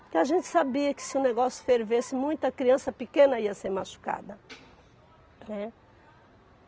Porque a gente sabia que se o negócio fervesse, muita criança pequena ia ser machucada, né.